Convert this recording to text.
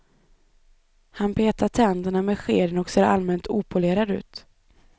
Han petar tänderna med skeden och ser allmänt opolerad ut.